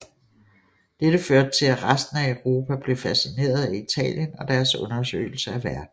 Dette førte til at resten af Europa blev fascineret af Italien og deres undersøgelser af verden